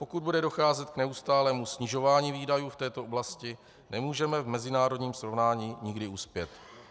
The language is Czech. Pokud bude docházet k neustálému snižování výdajů v této oblasti, nemůžeme v mezinárodním srovnání nikdy uspět.